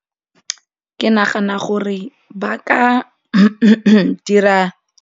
Ke nagana gore ba ka dira.